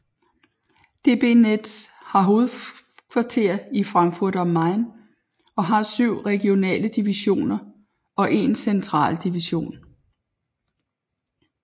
DB Netz har hovedkvarter i Frankfurt am Main og har 7 regionale divisioner og en central division